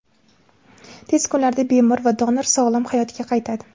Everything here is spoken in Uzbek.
Tez kunlarda bemor va donor sog‘lom hayotga qaytadi.